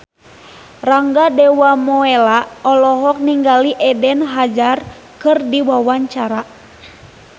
Rangga Dewamoela olohok ningali Eden Hazard keur diwawancara